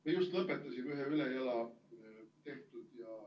Me just lõpetasime ühe ülejala tehtud ja ...